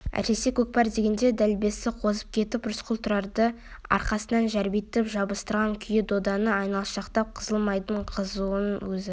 әсіресе көкпар дегенде делебесі қозып кетіп рысқұл тұрарды арқасына жәрбитіп жабыстырған күйі доданы айналшақтап қызыл майданның қызуына өзі